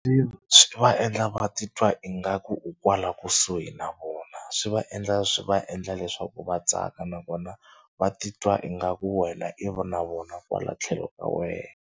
Swi va endla va titwa ingaku u kwala kusuhi na vona. Swi va endla swi va endla leswaku va tsaka nakona va titwa ingaku wena na vona kwala tlhelo ka wehe.